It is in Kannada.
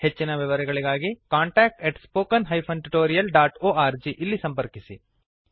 ಹೆಚ್ಚಿನ ವಿವರಗಳಿಗಾಗಿ contact at spoken hyphen tutorial dot org ಇಲ್ಲಿ ಸಂಪರ್ಕಿಸಿ